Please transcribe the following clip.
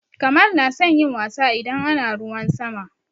Kamal na son yin wasa idan ana ruwan sama.